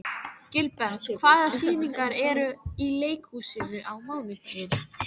Gilbert, hvaða sýningar eru í leikhúsinu á mánudaginn?